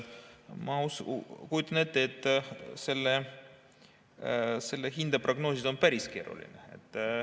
Ma kujutan ette, et seda hinda prognoosida on päris keeruline.